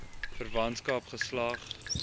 verwantskap geslag